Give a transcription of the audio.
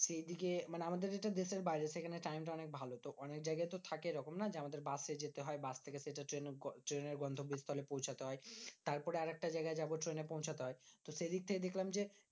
সে এদিকে মানে আমাদের এটা দেশের বাইরে সেখানে time টা অনেক ভালো। তো অনেকজায়গায় তো থাকে এরকম না যে আমাদের বাস এ যেতে হয়। বাস থেকে সে তো ট্রেন ট্রেনের গন্তব্যস্থলে পৌঁছতে হয়। তারপরে আরেকটা জায়গা যাবো ট্রেনে পৌঁছতে হয়, তো সেইদিক থেকে দেখলাম যে,